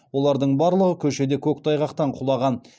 олардың барлығы көшеде көктайғақтан құлаған